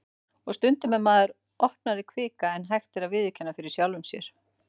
Og stundum er maður opnari kvika en hægt er að viðurkenna fyrir sjálfum sér.